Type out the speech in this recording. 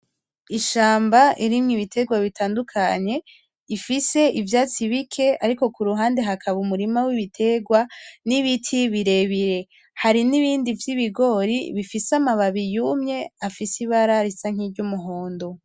Ishamba irimwo ibiterwa bitandukanye ifise ivyatsi bike ariko kuruhande hakaba umurima wibiterwa n’ibiti birebire hari n’ibindi vyibingori bifise amababi yumye afise ibara risa nkiry’umuhondo.